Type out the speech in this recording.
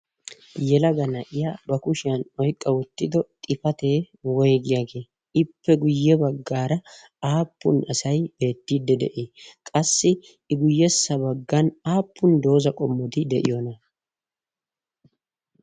yelaga naiya ba kushiyan oiqqawottido xifatee woigiyaagee? ippe guyye baggaara aappun asai beettiidde de7i? qassi i guyyessa baggan aappun dooza qommoti de7iyoona?